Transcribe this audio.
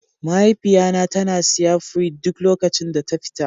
Mahaifiya na ta na siya fruit duk lokacin da ta fita.